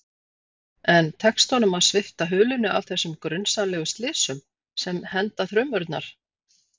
En tekst honum að svipta hulunni af þessum grunsamlegu slysum, sem henda þrumurnar?